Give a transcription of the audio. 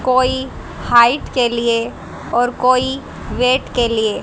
कोई हाईट के लिए और कोई वेट के लिए।